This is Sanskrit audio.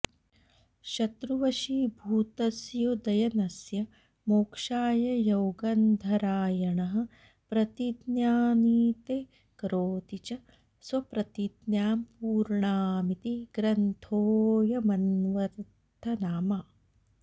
शत्रुवशीभूतस्योदयनस्य मोक्षाय यौगन्धरायणः प्रतिज्ञानीते करोति च स्वप्रतिज्ञां पूर्णामिति ग्रन्थोऽयमन्वर्थनामा